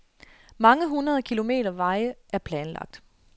Mange hundrede kilometer veje er planlagt.